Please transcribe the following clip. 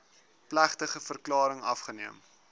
plegtige verklaring afgeneem